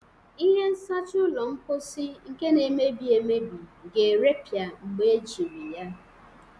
Ihe nsacha ụlọ mposi nke na-emebi emebi ga-erepịa mgbe ejiri ya.